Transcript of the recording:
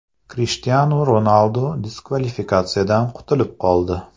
Krishtianu Ronaldu diskvalifikatsiyadan qutulib qoldi.